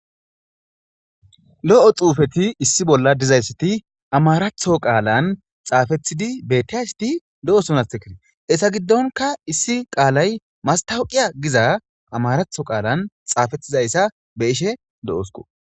lo7o xuufeti issi bolla dizayssiti amaratho qaalan xaafethidi bettiayssiti do7osonathekitee essa giddonka issi qaalay mastawuqiya giza amaratho qaalan xaafetizayssa be ishe do7osko